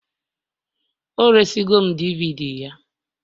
o resịrị m DVD ya